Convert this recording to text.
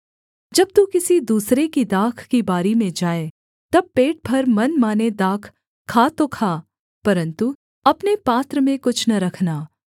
जब तू किसी दूसरे की दाख की बारी में जाए तब पेट भर मनमाने दाख खा तो खा परन्तु अपने पात्र में कुछ न रखना